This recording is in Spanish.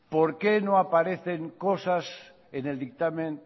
por qué no aparecen cosas en el dictamen